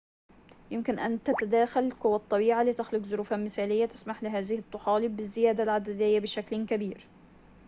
يمكن أن تتداخل قوى الطبيعة لتخلق ظروفاً مثاليّة تسمح لهذه الطحالب بالزيادة العددية بشكل كبير